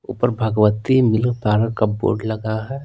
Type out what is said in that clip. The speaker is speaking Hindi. ऊपर भगवती मिल्क पावर का बोर्ड लगा है।